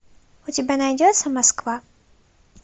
у тебя найдется москва